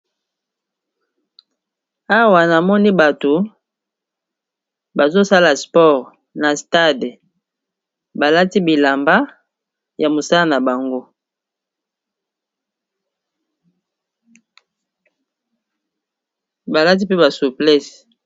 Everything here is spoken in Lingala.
Awa namoni bato bazosala sport na stade balati bilamba ya mosala na bango balati mpe basuplesse